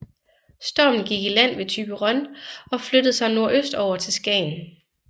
Stormen gik i land ved Thyborøn og flyttede sig nordøstover til Skagen